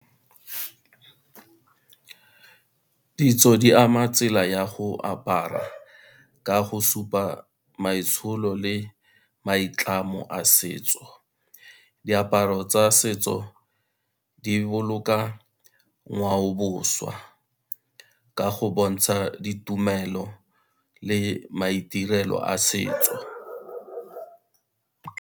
Ditso di ama tsela ya go apara, ka go supa maitsholo le maitlamo a setso. Diaparo tsa setso di boloka ngwaoboswa, ka go bontsha ditumelo le maitirelo a setso.